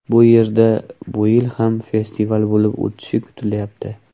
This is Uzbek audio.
Bu yerda bu yil ham festival bo‘lib o‘tishi kutilyapti.